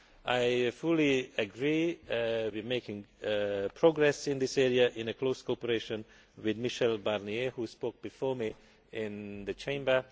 I fully agree with making progress in this area in close cooperation with Michel Barnier, who spoke before me in the Chamber.